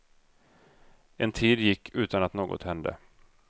En tid gick utan att något hände.